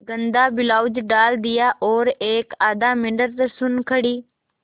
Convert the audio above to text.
गंदा ब्लाउज डाल दिया और एकआध मिनट सुन्न खड़ी